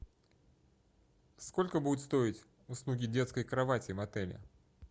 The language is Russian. сколько будут стоить услуги детской кровати в отеле